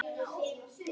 En það dróst og dróst.